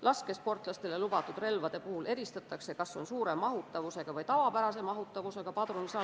Laskesportlastele lubatud relvade puhul eristatakse, kas neil on suure või tavapärase mahutavusega padrunisalv.